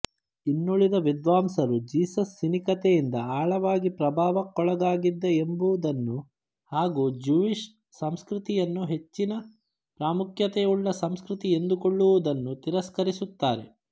ಇನ್ನುಳಿದ ವಿದ್ವಾಂಸರು ಜೀಸಸ್ ಸಿನಿಕತೆಯಿಂದ ಆಳವಾಗಿ ಪ್ರಭಾವಕ್ಕೊಳಗಾಗಿದ್ದ ಎಂಬುದನ್ನು ಹಾಗೂ ಜ್ಯೂಯಿಶ್ ಸಂಸ್ಕ್ರತಿಯನ್ನು ಹೆಚ್ಚಿನ ಪ್ರಾಮುಖ್ಯತೆಯುಳ್ಳ ಸಂಸ್ಕ್ರತಿ ಎಂದುಕೊಳ್ಳುವುದನ್ನು ತಿರಸ್ಕರಿಸುತ್ತಾರೆ